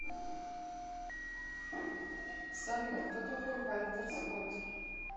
салют кто такой вальтер скотт